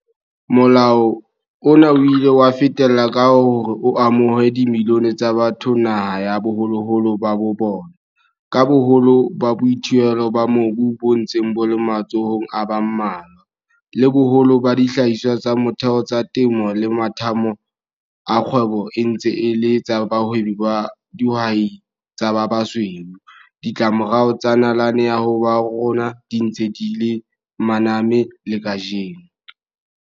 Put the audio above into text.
Molao ona o ile wa fetella ka hore o amohe dimilione tsa batho naha ya baholoholo ba bona. Ka boholo ba boithuelo ba mobu bo ntseng bo le matsohong a ba mmalwa, le boholo ba dihlahiswa tsa motheo tsa temo le mathathamo a kgwebo e ntse e le tsa bahwebi ba dihwai tsa ba basweu, ditlamorao tsa nalane ya habo rona di ntse di re maname le kajeno.